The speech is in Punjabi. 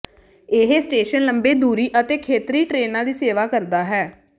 ਇਹ ਸਟੇਸ਼ਨ ਲੰਬੇ ਦੂਰੀ ਅਤੇ ਖੇਤਰੀ ਟ੍ਰੇਨਾਂ ਦੀ ਸੇਵਾ ਕਰਦਾ ਹੈ